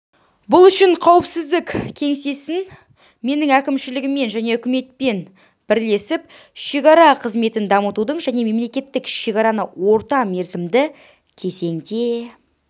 бұл үшін қауіпсіздік кеңесіне менің әкімшілігіммен және үкіметпен бірлесіп шекара қызметін дамытудың және мемлекеттік шекараны орта мерзімді кезеңде